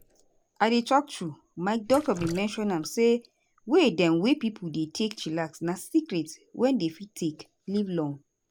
i dey talk truth my doc bin mention am say way dem wey pipo dey take chillax na secret wey dem fit take live long.